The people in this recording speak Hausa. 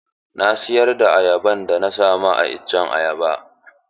Na siyar da ayaban da na samu a iccen ayaba.